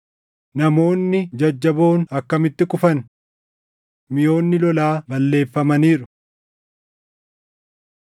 “Namoonni jajjaboon akkamitti kufan! Miʼoonni lolaa balleeffamaniiru!”